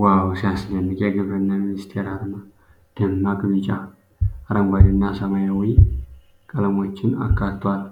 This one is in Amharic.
ዋው፣ ሲያስደንቅ! የግብርና ሚኒስቴር አርማ ደማቅ ቢጫ፣ አረንጓዴና ሰማያዊ ቀለሞችን አካቷል።